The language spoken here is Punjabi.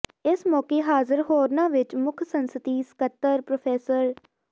ਿੲਸ ਮੌਕੇ ਹਾਜ਼ਰ ਹੋਰਨਾਂ ਿਵਚ ਮੁੱਖ ਸੰਸਦੀ ਸਕੱਤਰ ਪ੍ਰੋ